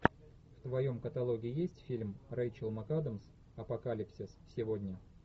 в твоем каталоге есть фильм рэйчел макадамс апокалипсис сегодня